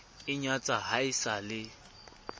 inyatsa ha e sa le